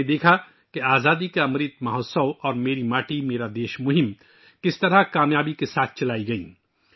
ہم نے 'آزادی کا امرت مہوتسو' اور 'میری ماٹی میرا دیش' جیسی کامیاب مہموں کا تجربہ کیا